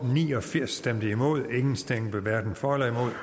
ni og firs hverken for